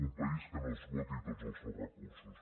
un país que no esgoti tots els seus recursos